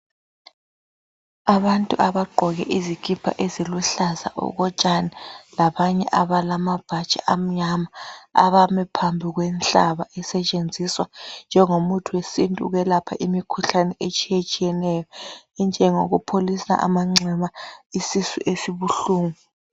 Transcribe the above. Abantu abagqoke izikipha eziluhlaza okotshani, labanye abalamabhatshi amnyama abame phambi kwenhlaba esetshenziswa ukwelapha imikhuhlane etshiyetshiyeneyo, enjengokupholisa amanxeba, isisu sibuhlungu.